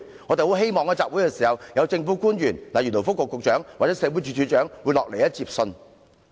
我們希望集會時，一些政府官員，例如勞工及福利局局長或社會福利署署長會前來接信。